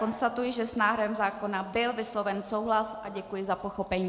Konstatuji, že s návrhem zákona byl vysloven souhlas, a děkuji za pochopení.